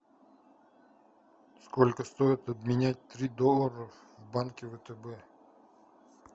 сколько стоит обменять три доллара в банке втб